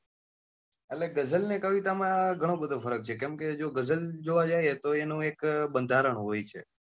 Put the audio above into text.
એટલે ગઝલ ને કવિતા માં ધનો બધો ફરક છે કેમ કે જો ગઝલ જોવા જઈએ તો એનું એક બંધારણ હોય છે.